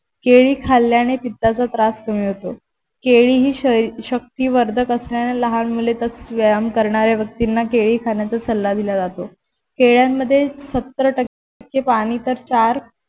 केळी खाल्याने पित्ताचा त्रास कमी होतो. केळी ही शक्तिवर्धक असणाऱ्या लहान मुले व्यायाम करणाऱ्या व्यक्तींना केळी खाण्याचा सल्ला दिला जातो केळ्यांमध्ये सत्तर टक्के पानी तर चार